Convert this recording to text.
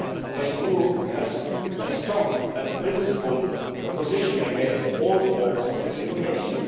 The EU has a strong and principled position against all forms of discrimination.